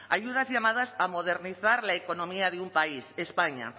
ayudas llamadas a modernizar la economía de un país españa